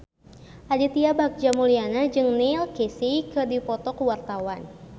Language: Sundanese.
Aditya Bagja Mulyana jeung Neil Casey keur dipoto ku wartawan